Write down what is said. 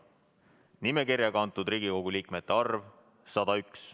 Nimekirja kantud Riigikogu liikmete arv: 101.